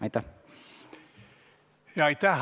Aitäh!